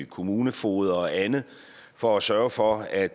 kommunefogeder og andet for at sørge for at